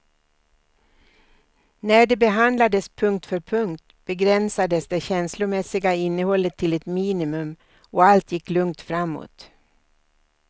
När det behandlades punkt för punkt begränsades det känslomässiga innehållet till ett minimum, och allt gick lugnt framåt.